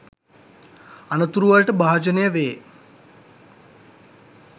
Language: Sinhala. අනතුරු වලට භාජනය වේ